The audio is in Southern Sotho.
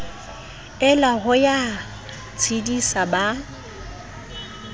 ela ho ya tshedisa ba